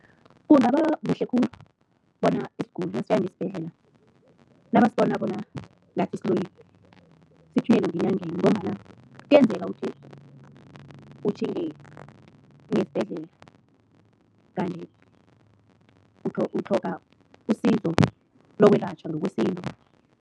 Kungaba kuhle khulu bona isiguli nasiya ngesibhedlela, nabasibona bona ngathi siloyiwe sithunyelwe ngenyangeni ngombana kuyenzeka ukuthi utjhinge ngesibhedlela, kanti utlhoga usizo lokwelatjhwa ngokwesintu.